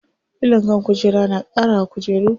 Filon kan kujera na ƙara wa kujeru kyau.